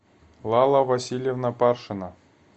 лала васильевна паршина